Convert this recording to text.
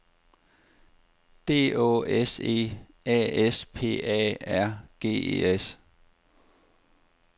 D Å S E A S P A R G E S